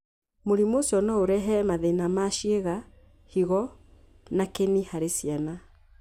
Mũrimũ ũcio no ũrehe mathĩna ma ciĩga, higo, na kĩni harĩ ciana.